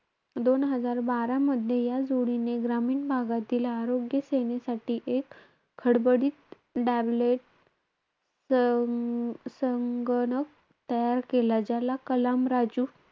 दोन हजार बारामध्ये या जोडीने, ग्रामीण भागातील आरोग्य सेनेसाठी, एक खडबडीत tablet सं~ संगणक तयार केला. ज्याला कलाम राजू,